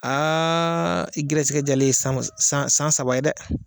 i gɛrɛsɛgɛ jaalen sama san san saba ye dɛ.